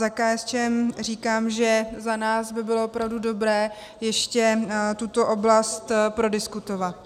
Za KSČM říkám, že za nás by bylo opravdu dobré ještě tuto oblast prodiskutovat.